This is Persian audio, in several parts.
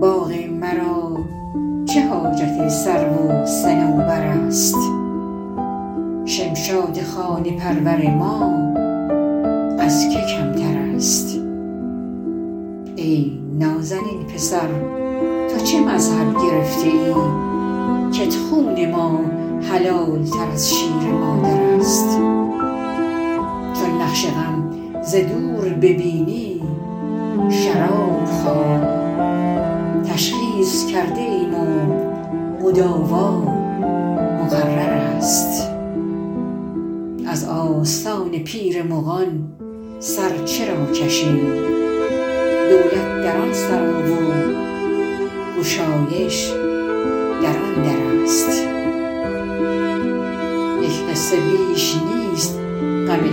باغ مرا چه حاجت سرو و صنوبر است شمشاد خانه پرور ما از که کمتر است ای نازنین پسر تو چه مذهب گرفته ای کت خون ما حلال تر از شیر مادر است چون نقش غم ز دور ببینی شراب خواه تشخیص کرده ایم و مداوا مقرر است از آستان پیر مغان سر چرا کشیم دولت در آن سرا و گشایش در آن در است یک قصه بیش نیست غم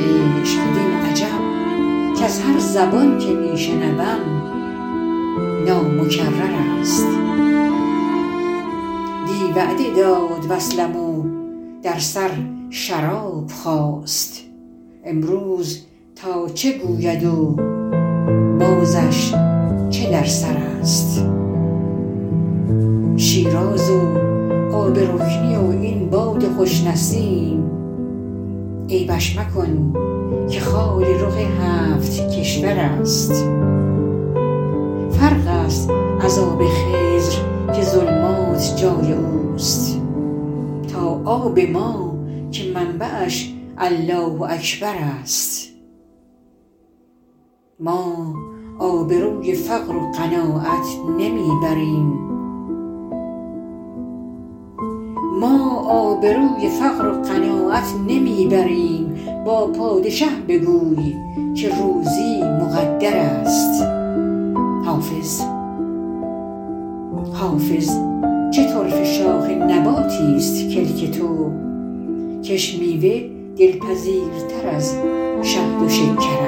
عشق وین عجب کز هر زبان که می شنوم نامکرر است دی وعده داد وصلم و در سر شراب داشت امروز تا چه گوید و بازش چه در سر است شیراز و آب رکنی و این باد خوش نسیم عیبش مکن که خال رخ هفت کشور است فرق است از آب خضر که ظلمات جای او است تا آب ما که منبعش الله اکبر است ما آبروی فقر و قناعت نمی بریم با پادشه بگوی که روزی مقدر است حافظ چه طرفه شاخ نباتیست کلک تو کش میوه دلپذیرتر از شهد و شکر است